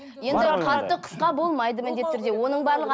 енді қатты қысқа болмайды міндетті түрде оның барлығы